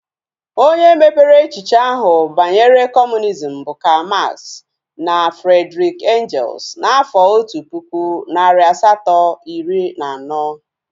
Onye mepere echiche ahu banyere kọmunizm bụ Karl Max na Friedrish Engels n'afọ otu pụkụ, narị asato, iri na anọ